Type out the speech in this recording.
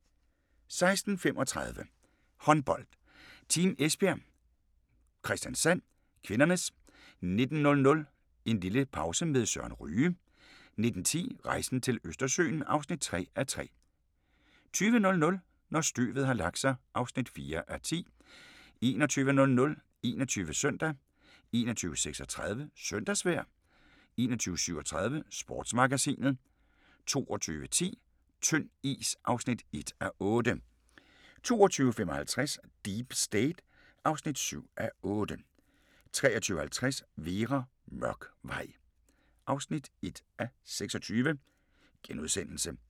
16:35: Håndbold: Team Esbjerg-Kristiansand (k) 19:00: En lille pause med Søren Ryge 19:10: Rejsen til Østersøen (3:3) 20:00: Når støvet har lagt sig (4:10) 21:00: 21 Søndag 21:36: Søndagsvejr 21:37: Sportsmagasinet 22:10: Tynd is (1:8) 22:55: Deep State (7:8) 23:50: Vera: Mørk vej (1:26)*